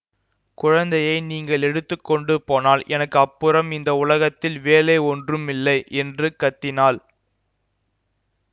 குழந்தையை நீங்கள் எடுத்து கொண்டு போனால் எனக்கு அப்புறம் இந்த உலகத்தில் வேலை ஒன்றுமில்லை என்று கத்தினாள்